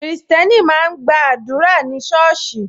Kristẹni máa ń gba àdúrà ní soosi